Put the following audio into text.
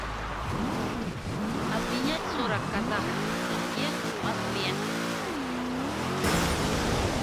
обменять сорок казахских тенге в москве